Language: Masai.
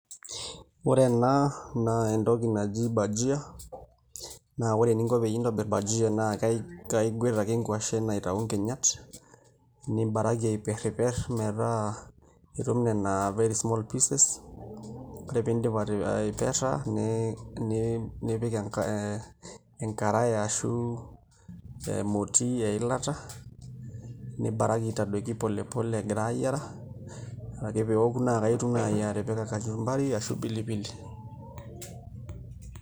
Ore ena naa entoki naji bhajia naa ore eninko enintobirr bhajia naa kaiguet ake nkuashen iatayu nkinyat nibaraki aiperriperr metaa itum nena very small pieces ore pee indip aiperra nipik ee enkarai ashu emoti eilata nibaraki aitadoiki pole pole egira aayiara ore ake pee eoku naa akaitumoki ake atipika kachumbari ashu pilipili.